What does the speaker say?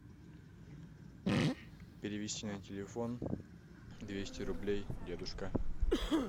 перевести на телефон двести рублей дедушка